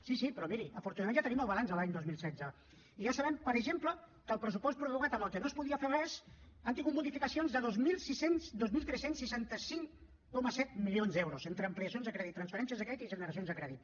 sí sí però miri afortunadament ja tenim el balanç de l’any dos mil setze i ja sabem per exemple que el pressupost prorrogat amb el que no es podia fer res ha tingut modificacions de dos mil tres cents i seixanta cinc coma set milions d’euros entre ampliacions de crèdit transferències de crèdit i generacions de crèdit